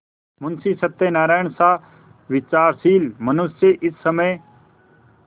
मुंशी सत्यनारायणसा विचारशील मनुष्य इस समय